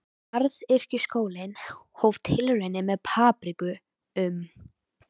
Garðyrkjuskólinn hóf tilraunir með papriku um